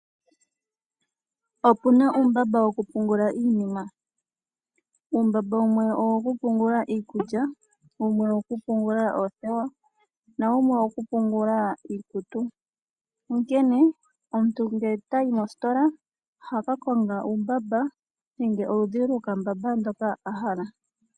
Opuna uumbamba wokupungula iinima. Uumbamba wumwe owo ku pungula iikulya, wumwe owo ku pungula oothewa, na wumwe owo ku pungula iikutu. Onkene omuntu ngele tayi mositola oha ka konga uumbamba nenge oludhi lwokambamba hoka a hala.